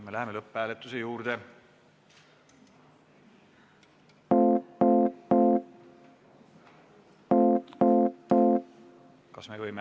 Me läheme lõpphääletuse juurde.